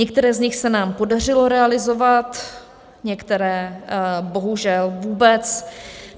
Některá z nich se nám podařilo realizovat, některá bohužel vůbec.